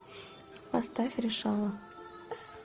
поставь решала